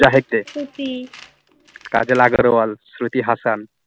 Kajal Agarwal Shruti Hasan